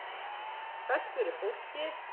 Sælt veri fólkið!